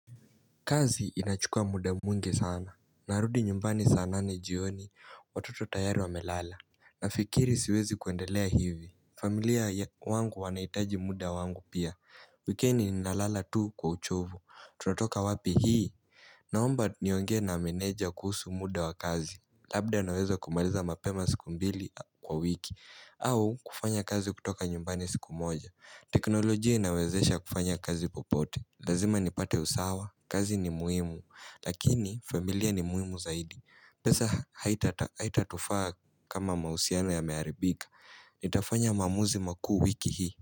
Kazi inachukua muda mwingi sana. Narudi nyumbani sana ni jioni watoto tayari wamelala. Nafikiri siwezi kuendelea hivi. Familia wangu wanaitaji muda wangu pia. Wikendi ni nalala tu kwa uchovu. Tunatoka wapi hii. Naomba niongee na meneja kuhusu muda wa kazi. Labda nawezo kumaliza mapema siku mbili kwa wiki. Au kufanya kazi kutoka nyumbani siku moja. Teknoloji ina wezesha kufanya kazi popote. Lazima nipate usawa, kazi ni muhimu lakini familia ni muhimu zaidi. Pesa haitatufaa kama mahusiano yamearibika Nitafanya maamuzi makuu wiki hii.